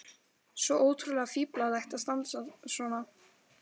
Svo ótrúlega fíflalegt að standa svona.